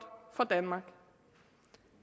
for danmark